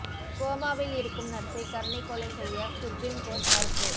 கோமாவில் இருக்கும் நர்சை கருணைக் கொலை செய்ய சுப்ரீம் கோர்ட் மறுப்பு